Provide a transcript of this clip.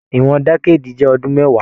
Ìwọn dẹ̀kèdí jẹ ọdún mẹwàá.